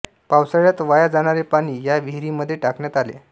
पावसाळ्यात वाया जाणारे पाणी या विहिरींमध्ये टाकण्यात आले